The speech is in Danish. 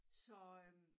Så øh